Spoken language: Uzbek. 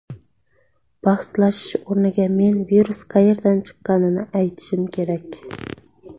Bahslashish o‘rniga, men virus qayerdan chiqqanini aytishim kerak.